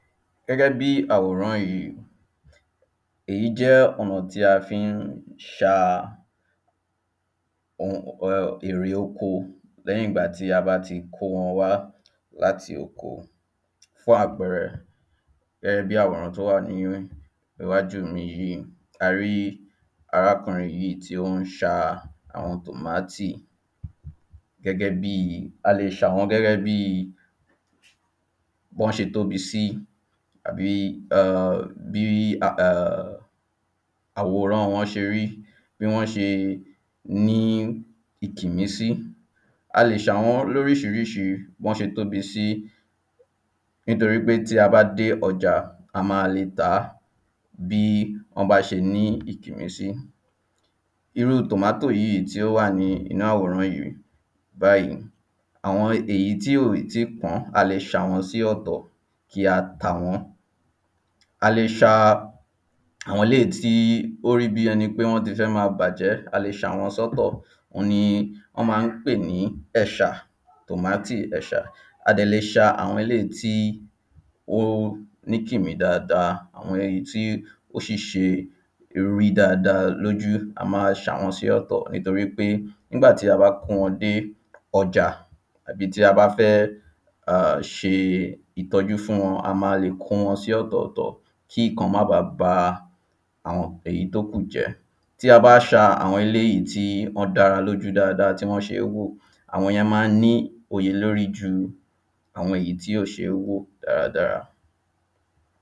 Gẹ́gẹ́ bí àwòrán yìí Èyí jẹ́ ọ̀nà tí a fi ń ṣa èrè oko lẹ́yìn ìgbà tí a bá ti kó wọn wá láti oko Fún àpẹẹrẹ gẹ́gẹ́ bí àwòrán tí ó wà ní iwájú mi yìí A rí arákùnrin tí ó ń ṣa àwọn tomatoe gẹ́gẹ́ bíi A lè ṣà wọ́n gẹ́gẹ́ bíi bí wọ́n ṣe tóbi sí Àbí um bíi um àwòrán wọ́n ṣe rí bí wọ́n ṣe ní ìkìmí sí A lè ṣà wọ́n ní oríṣiríṣi bí wọ́n ṣe tóbi sí Nítorí pé tí a bá dé ọjà a máa lè tà á bí wọ́n bá ṣe ní ìkìmí sí Ìrú tomatoe yìí tí ó wà ní inú àwòrán yìí báyì Àwọn èyí tí ó ì tíì pán a lè ṣà wọ́n sí ọ̀tọ̀ kí a tà wọ́n A lè ṣa àwọn eléyí tí ó rí bíi ẹni pé wọ́n ti fẹ́ máa bàjẹ́ a lè ṣà wọ́n sí ọ̀tọ̀ Òun ní wọ́n ma ń pè ní ẹ̀ṣà tomatoe ẹ̀ṣà A dẹ̀ lè ṣa àwọn eléyì tí ó ní ìkìmí dáadáa Àwọn èyí tí ó ṣì ṣe rí dáadáa lójú a máa ṣà wọ́n sí ọ̀tọ̀ Nítorí pé nígbà ti a bá kó wọn dé ọjà tàbí tí a bá fẹ́ ṣe ìtọ́jú fún wọn a máa lè kó wọn sí ọ̀tọ̀ọ̀tọ̀ kí ìkan má báa ba àwọn èyí tí ó kù jẹ́ Tí a bá ṣa àwọn eléyí tí wọ́n dára lọ́jú dáadáa tí wọ́n ṣe é wò àwọn yẹn ma ń ní iye lórí ju àwọn èyí tí ò ṣeé wò dáadáa